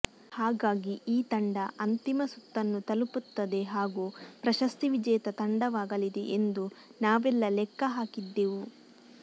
ಹಾಗಾಗಿ ಈ ತಂಡ ಅಂತಿಮ ಸುತ್ತನ್ನು ತಲುಪುತ್ತದೆ ಹಾಗೂ ಪ್ರಶಸ್ತಿ ವಿಜೇತ ತಂಡವಾಗಲಿದೆ ಎಂದು ನಾವೆಲ್ಲ ಲೆಕ್ಕ ಹಾಕಿದ್ದೆವು